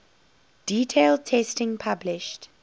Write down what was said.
detailed testing published